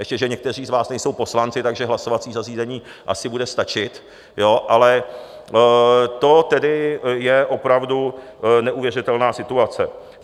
Ještě že někteří z vás nejsou poslanci, takže hlasovací zařízení asi bude stačit, ale to tedy je opravdu neuvěřitelná situace.